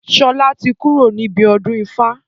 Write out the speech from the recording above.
Sola tí kúrò níbi ọdún ifá